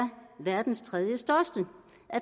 verdens tredjestørste